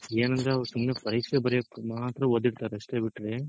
ಏನಂದ್ರೆ ಅವ್ರ್ ಸುಮ್ನೆ ಪರೀಕ್ಷೆ ಬರೆಯಕ್ ಮಾತ್ರ ಓದಿರ್ತಾರೆ ಅಷ್ಟೇ ಬಿಟ್ರೆ